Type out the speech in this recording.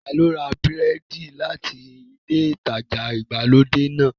Ta ló ra búrẹ́dì náà láti ilé ìtajà ìgbàlódé náà?